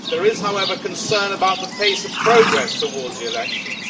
There is, however, concern about the pace of progress towards elections.